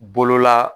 Bolola